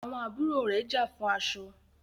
àwọn àbúrò rẹ̀ já fún aṣọ.